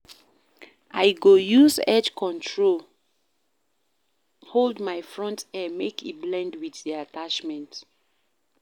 I go use edge control hold my front hair make e blend wit di attachment.